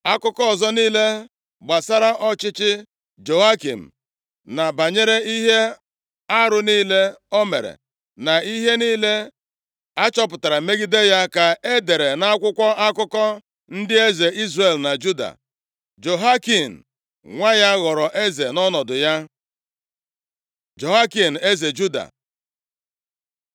Akụkọ ọzọ niile gbasara ọchịchị Jehoiakim, na banyere ihe arụ niile o mere, na ihe niile a chọpụtara megide ya, ka e dere nʼakwụkwọ akụkọ ndị eze Izrel na Juda. Jehoiakin nwa ya ghọrọ eze nʼọnọdụ ya. Jehoiakin eze Juda